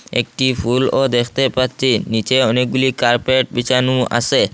একটি ফুলও দেখতে পাচ্চি নীচে অনেকগুলি কার্পেট বিছানো আসে।